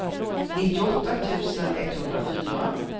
nittioåtta tusen etthundrafyra